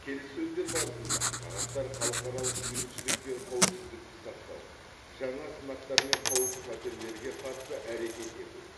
келіссөздер барысында тараптар халықаралық бейбітшілік пен қауіпсіздікті сақтау жаңа сынақтар мен қауіп қатерлерге қарсы әрекет ету